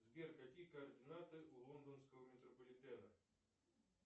сбер какие координаты у лондонского метрополитена